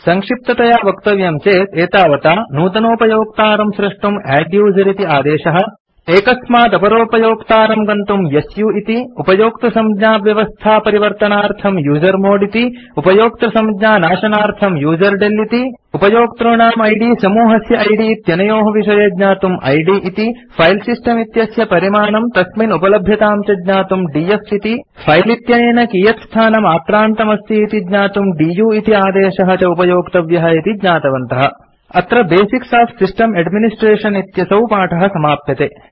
सङ्क्षिप्ततया वक्तव्यं चेत् एतावता नूतनोपयोक्तारं स्रष्टुम् अद्दुसेर इति आदेशः एकस्मात् अपरोपयोक्तारं प्रति गन्तुम् सु इति उपयोक्तृसंज्ञाव्यवस्था परिवर्तनार्थम् यूजर्मोड् इति उपयोक्तृसंज्ञानाशनार्थम् यूजरडेल इति उपयोक्तॄणाम् इद् समूहस्य इद् इत्यनयोः विषये ज्ञातुम् इद् इति फिले सिस्टम् इत्यस्य परिमाणं तस्मिन् उपलभ्यतां च ज्ञातुम् डीएफ इति फिले इत्यनेन कियत् स्थानम् आक्रान्तमस्ति इति ज्ञातुम् दु इति आदेशः च उपयोक्तव्यः इति ज्ञातवन्तः अत्र बेसिक्स ओफ सिस्टम् एड्मिनिस्ट्रेशन् इत्यसौ पाठ समाप्यते